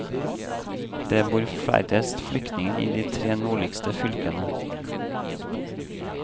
Det bor færrest flyktninger i de tre nordligste fylkene.